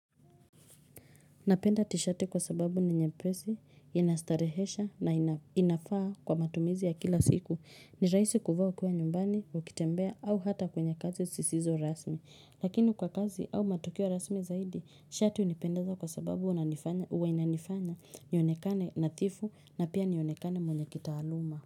Napenda tishati kwa sababu ni nyepesi, inastarehesha na inafaa kwa matumizi ya kila siku. Ni raisi kuvaa ukiwa nyumbani, ukitembea au hata kwenye kazi sisizo rasmi. Lakini kwa kazi au matukio rasmi zaidi, shati unipendaza kwa sababu uwa inanifanya, nionekane nadhifu na pia nionekane mwenye kitaaluma.